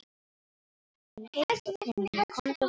Það er heitt á könnunni, komdu og fáðu þér sopa.